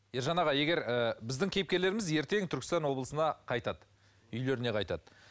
ержан аға егер ы біздің кейіпкерлеріміз ертең түркістан облысына қайтады үйлеріне қайтады